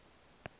ali ibn abd